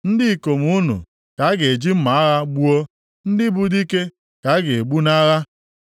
Ndị ikom unu ka a ga-eji mma agha gbuo, ndị bụ dike ka a ga-egbu nʼagha.